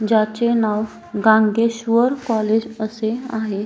ज्याचे नाव गांद्धेश्वर कॉलेज असे आहे.